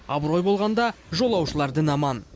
абырой болғанда жолаушылар дін аман